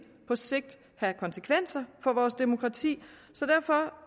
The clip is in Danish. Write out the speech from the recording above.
på sigt have konsekvenser for vores demokrati så derfor